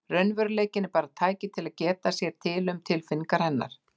Raunveruleikinn bara tæki til að geta sér til um tilfinningar hennar.